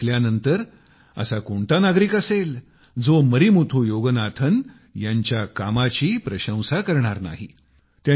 आता हे ऐकल्यानंतर असा कोणता नागरिक असेल जो मरिमुथु योगनाथन यांच्या कामाची प्रशंसा करणार नाही